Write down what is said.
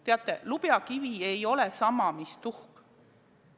Teate, lubjakivi ei ole sama mis tuhk.